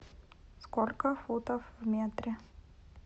сколько футов в метре